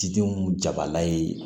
Cidenw jabala ye